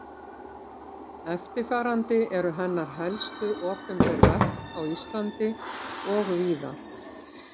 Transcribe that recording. eftirfarandi eru hennar helstu opinber verk á íslandi og víðar